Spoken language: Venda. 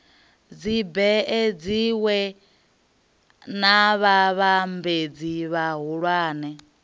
dzibee dziwee na vhavhambadzi vhahulwane